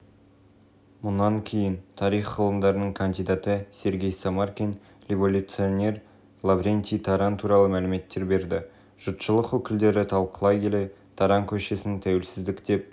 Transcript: мұнан кейін тарих ғылымдарының кандидаты сергей самаркин революционер лаврентий таран туралы мәліметтер берді жұртшылық өкілдері талқылай келе таран көшесін тәуелсіздік деп